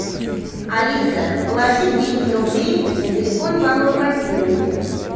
алиса положи двести рублей на телефон павла владимировича